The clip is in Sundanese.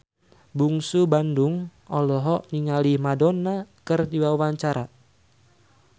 Bungsu Bandung olohok ningali Madonna keur diwawancara